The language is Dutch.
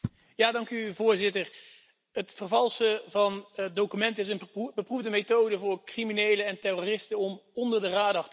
Voorzitter, het vervalsen van documenten is een beproefde methode voor criminelen en terroristen om onder de radar te blijven.